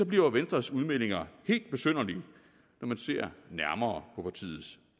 bliver venstres udmeldinger helt besynderlige når man ser nærmere på partiets